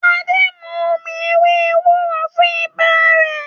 Ade nmú omí ewé ewúro fún ibà Re